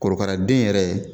Korokara den yɛrɛ